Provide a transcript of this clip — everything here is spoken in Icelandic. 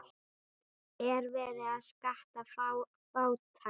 Er verið að skatta fátækt?